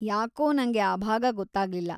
ಯಾಕೋ ನಂಗೆ ಆ ಭಾಗ ಗೊತ್ತಾಗಿಲ್ಲ.